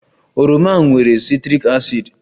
Oroma nwere citric acid